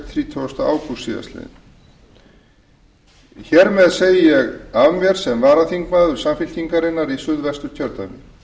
þrítugasta ágúst síðastliðnum hér með segi ég af mér sem varaþingmaður samfylkingarinnar í suðvesturkjördæmi